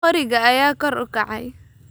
Qoriga ayaa kor u kacay